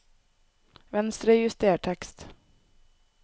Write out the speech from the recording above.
Venstrejuster tekst